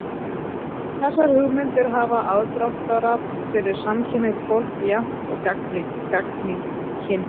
Þessar hugmyndir hafa aðdráttarafl fyrir samkynhneigt fólk jafnt og gagnkynhneigt.